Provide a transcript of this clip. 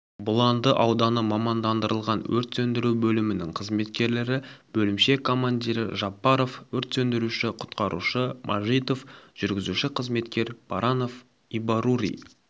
бұланды ауданы мамандандырылған өрт сөндіру бөлімінің қызметкерлері бөлімше командирі жапаров өрт сөндіруші-құтқарушы мажитов жүргізуші-қызметкер баранов ибаррури